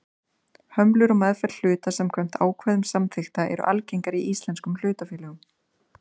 Hömlur á meðferð hluta samkvæmt ákvæðum samþykkta eru algengar í íslenskum hlutafélögum.